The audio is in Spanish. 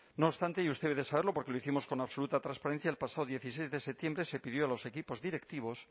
no obstante y usted debe de saberlo porque lo hicimos con absoluta transparencia el pasado dieciséis de septiembre se pidió a los equipos directivos